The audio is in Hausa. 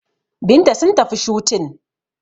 Binta sun tafi shooting